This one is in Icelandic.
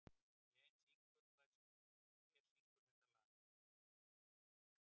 Jane, hver syngur þetta lag?